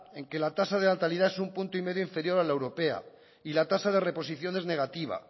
en que la tasa de natalidad es un uno coma cinco punto inferior a la europea y la tasa de reposición es negativa